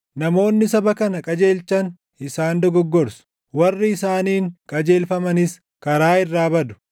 Namoonni saba kana qajeelchan isaan dogoggorsu; warri isaaniin qajeelfamanis karaa irraa badu.